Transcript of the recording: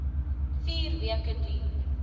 vier weke duur